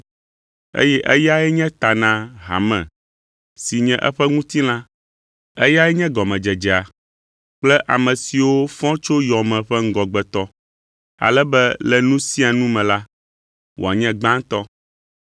Eye eyae nye ta na hame, si nye eƒe ŋutilã, eyae nye gɔmedzedzea kple ame siwo fɔ tso yɔ me ƒe ŋgɔgbetɔ, ale be le nu sia nu me la, wòanye gbãtɔ.